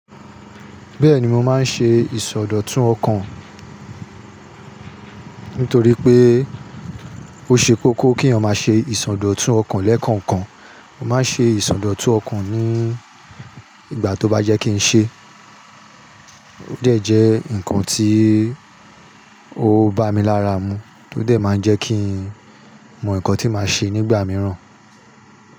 Bẹ́ẹ̀ni mo máa ń ṣe ìsọdọ̀tun ọkàn, nítorí pé ó ṣe kókó kí èèyàn máa ṣe ìsọdọ̀tun ọkàn lẹ́kànkan. Mo máa ń ṣe ìsọdọ̀tun ọkàn ní ìgbà tó bá yẹ́ kí n ṣe, ó dẹ̀ jẹ́ ǹkan tí ó ń bá mi lára mu, ó jẹ́ máa ń jẹ́ kí n mọ ǹkan tí màá ṣe nígbà mìíràn.